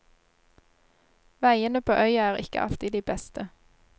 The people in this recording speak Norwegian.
Veiene på øya er ikke alltid de beste.